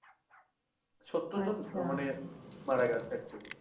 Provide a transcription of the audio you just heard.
সত্তর জন মানে মারা গেছে actually